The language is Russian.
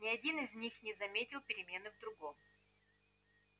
ни один из них не заметил перемены в другом